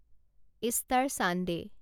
Easter Sunday